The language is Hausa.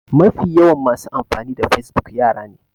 Mafi yawan masu amfani da facebook yara ne